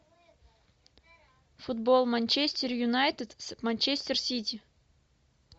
футбол манчестер юнайтед с манчестер сити